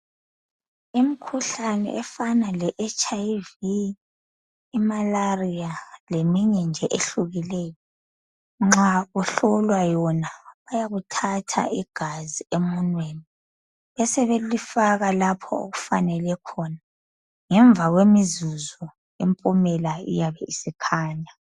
Imikhuhlane efana le HIV ,i-malaria leminye nje ehlukileyo nxa uhlolwa yona bayakuthatha igazi emunweni. besebelifaka lapho okufanele khona. Ngemva kwemizuzu impumela iyabe isikhanya.